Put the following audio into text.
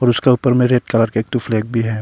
उसका ऊपर में रेड कलर का एक ठो फ्लैग भी है।